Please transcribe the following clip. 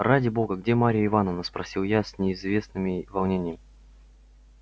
ради бога где марья ивановна спросил я с неизвестными волнением